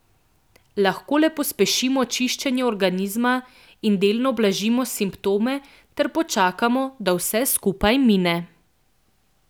Lahko le pospešimo čiščenje organizma in delno blažimo simptome ter počakamo, da vse skupaj mine.